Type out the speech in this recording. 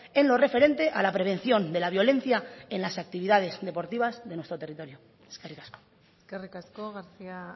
en lo referente a la prevención de la violencia en las actividades deportivas de nuestro territorio eskerrik asko eskerrik asko garcía